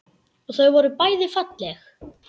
Og þau voru bæði falleg.